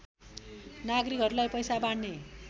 नागरिकहरूलाई पैसा बाँड्ने